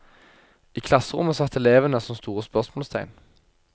I klasserommet satt elevene som store spørsmålstegn.